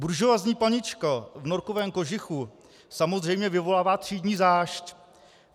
Buržoazní panička v norkovém kožichu samozřejmě vyvolává třídní zášť.